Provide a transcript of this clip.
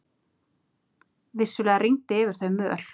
Vissulega rigndi yfir þau möl.